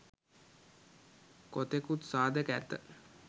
කොතෙකුත් සාධක ඇත.